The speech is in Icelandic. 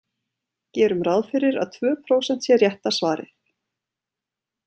Gerum ráð fyrir að tvö prósent sé rétta svarið.